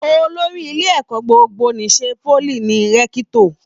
Olórí ilé ẹ̀kọ́ gbogbo n'isè poly ní Rẹ̀kitọ́.